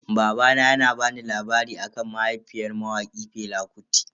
Babana yana bani labari akan mahaifiyar mawaki Fela Kuti.